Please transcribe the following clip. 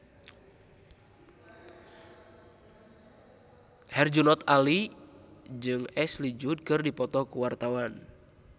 Herjunot Ali jeung Ashley Judd keur dipoto ku wartawan